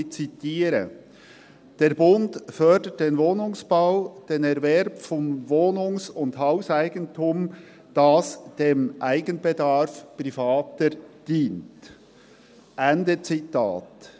Ich zitiere: «Der Bund fördert den Wohnungsbau, den Erwerb von Wohnungs- und Hauseigentum, das dem Eigenbedarf Privater dient […]», Ende Zitat.